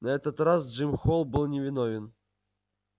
на этот раз джим холл был невиновен